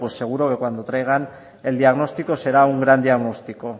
pues seguro que cuando traigan el diagnóstico será un gran diagnóstico